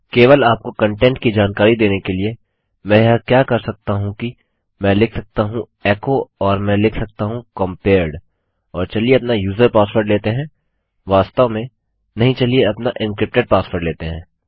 केवल आपको कंटेंट की जानकारी देने के लिए मैं यह क्या कर सकता हूँ कि मैं लिख सकता हूँ एको और मैं लिख सकता हूँ कंपेयर्ड और चलिए अपना यूजर पासवर्ड लेते हैं वास्तव में नहीं चलिए अपना एन्क्रिप्टेड पासवर्ड लेते हैं